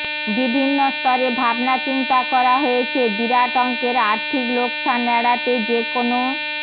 বিভিন্ন স্তরে ভাবনাচিন্তা করা হয়েছে বিরাট অঙ্কের আর্থিক লোকসান এড়াতে যে কোনও